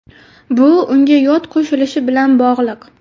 Bu unga yod qo‘shilishi bilan bog‘liq.